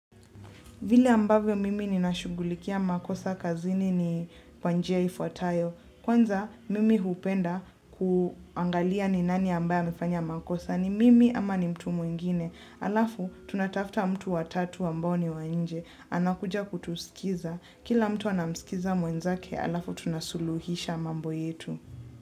Vile ambavyo mimi ni nashugulikia makosa kazini ni pa njia ifuatayo. Kwanza mimi hupenda ku angalia ni nani ambaye amefanya makosa n ni mimi ama ni mtu mwingine aaaaa. Halafu, tunatafuta mtu wa tatu ambao ni wa nje. Anakuja kutuskiza. Kila mtu anamsikiza mwenzake, halafu tunasuluhisha mambo yetu.